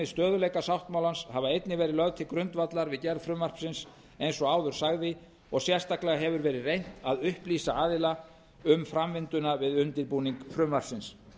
stöðugleikasáttmálans hafa einnig verið lögð til grundvallar við gerð frumvarpsins eins og áður sagði og sérstaklega hefur verið reynt að upplýsa aðila um framvinduna við undirbúning frumvarpsins